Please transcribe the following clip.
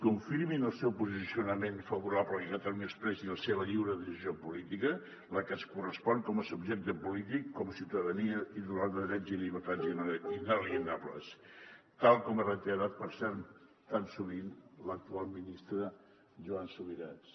confirmin el seu posicionament favorable a que catalunya expressi la seva lliure decisió política la que ens corres·pon com a subjecte polític com a ciutadania titular de drets i llibertats inalienables tal com ha reiterat per cert tan sovint l’actual ministre joan subirats